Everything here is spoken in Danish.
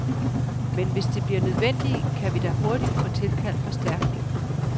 Men hvis det bliver nødvendigt, kan vi da hurtigt få tilkaldt forstærkning.